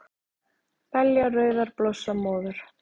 Belja rauðar blossa móður,